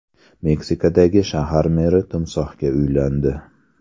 Meksikadagi shahar meri timsohga uylandi.